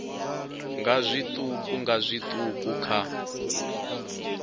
nga zwiṱuku nga zwiṱuku kha